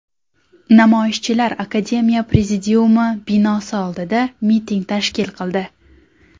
Namoyishchilar akademiya prezidiumi binosi oldida miting tashkil qildi.